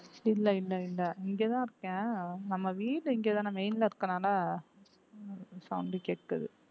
இல்லை இல்லை இல்லை இங்கேதான் இருக்கேன் நம்ம வீடு இங்கேதானே main ல இருக்கனாலே sound கேக்குது